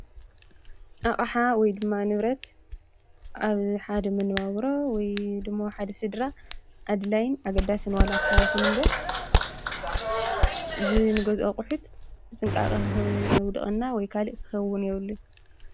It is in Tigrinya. ኣቅሓ ወይድማ ንብረት ኣብ ሓደ መነባብሮ ወይ ድማ ሓደ ስድራ ኣድላይን ኣገዳስን ዋላኳ ይኩን እምበር እዚ ንገዝኦ ኣቁሑት ብጥንቃቀ ክውድቀና ወይ ካልእ ክከዉን የብሉን።